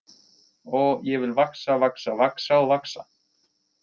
Oh, ég vil vaxa, vaxa, vaxa og vaxa.